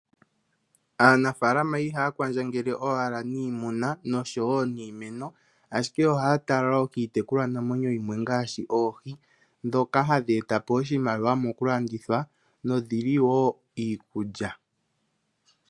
Aanafaalama ihaya kwandjangele owala niimuna nosho wo niimeno, ashike ohaya tala wo kiitekulwanamwenyo ngaashi oohi dhokahadhi etapo iimaliwa mokulandithwa nodhili wo iikulya.